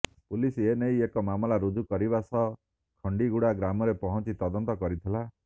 police ଏନେଇ ଏକ ମାମଲା ରୁଜୁ କରିବା ସହ ଖଣ୍ଡିଗୁଡ଼ା ଗ୍ରାମରେ ପହଞ୍ଚି ତଦନ୍ତ କରିଥିଲା